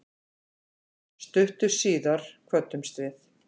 Stuttu síðar kvöddumst við.